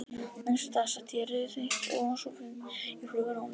Næsta dag sat ég rauðeygð og ósofin í flugvél á leið norður.